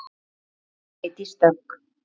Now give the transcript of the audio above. Þín, Freydís Dögg.